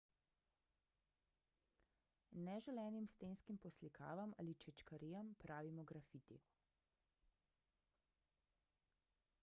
neželenim stenskim poslikavam ali čečkarijam pravimo grafiti